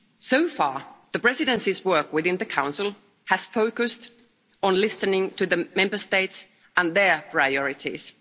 So far, the Presidency's work within the Council has focused on listening to the Member States and their priorities.